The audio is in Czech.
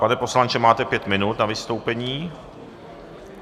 Pane poslanče, máte pět minut na vystoupení.